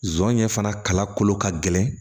Zonɲɛ fana kala kolo ka gɛlɛn